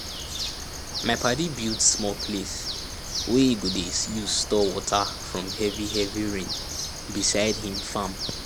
my padi build small place wey e go dey use store water from heavy heavy rain beside him farm